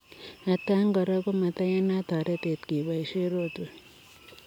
Atkaan koraa komateyanata toretet kebaishe rotwet .